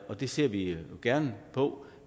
og det ser vi gerne på